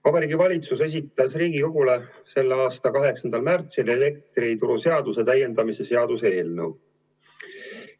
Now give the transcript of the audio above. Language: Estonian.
Vabariigi Valitsus esitas Riigikogule selle aasta 8. märtsil elektrituruseaduse täiendamise seaduse eelnõu.